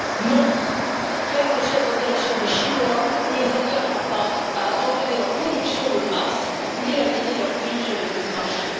Non, faire un geste en direction des Chinois ne les engagera pas à abandonner leur production de masse ni à aligner leurs prix sur les prix du marché.